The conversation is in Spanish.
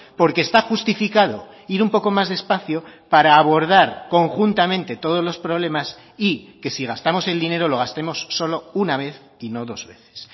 porque está justificado ir un poco más despacio para abordar conjuntamente todos los problemas y que si gastamos el dinero lo gastemos solo una vez y no dos veces